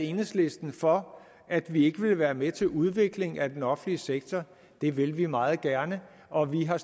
enhedslisten for at vi ikke ville være med til udvikling af den offentlige sektor det vil vi meget gerne og vi har